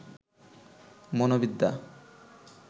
মনোবিদ্যা